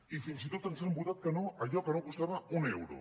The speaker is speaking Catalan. i fins i tot ens han votat que no a allò que no costava un euro